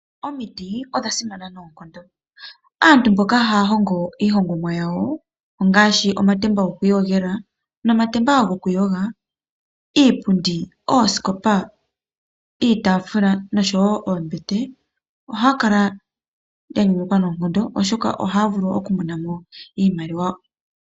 Omiti odha simana noonkondo, aantu mboka haya hongo ihongomwa yawo ongashi omatemba gwokwi yogela nomatemba gwokuyoga , iipundi noosikopa iitafula noshowo oombete , ohakala ya nyanyukwa noonkondo oshoka ohaya vulu oku kala ya monamo iimaliwa .